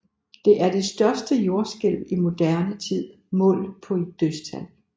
Det er det største jordskælv i moderne tid målt på dødstal